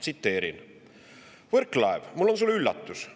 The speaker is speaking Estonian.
Tsiteerin: "Mart , mul on sulle üllatus.